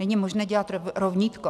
Není možné dělat rovnítko.